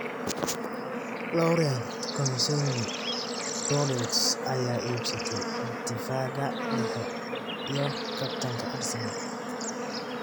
Laurent Koscielny: Bordeaux ayaa iibsatay difaaga dhexe iyo kabtanka Arsenal.